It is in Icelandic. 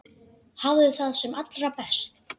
Hafðu það sem allra best.